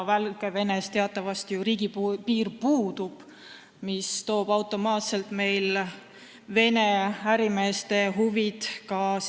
Valgevenega teatavasti meil ju riigipiir puudub, mis toob automaatselt mängu Vene ärimeeste huvid.